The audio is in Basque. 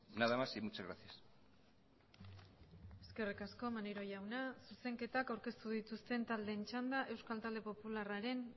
nada más y muchas gracias eskerrik asko maneiro jauna zuzenketak aurkeztu dituzten taldeen txanda euskal talde popularraren